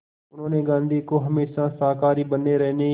उन्होंने गांधी को हमेशा शाकाहारी बने रहने